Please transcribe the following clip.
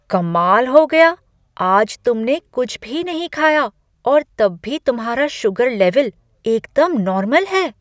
कमाल हो गया, आज तुमने कुछ भी नहीं खाया और तब भी तुम्हारा शुगर लेवल एकदम नॉर्मल है!